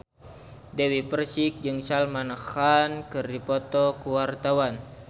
Dewi Persik jeung Salman Khan keur dipoto ku wartawan